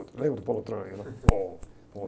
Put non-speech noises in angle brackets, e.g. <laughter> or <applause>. Lembra do Paulo Autran? Era... <unintelligible>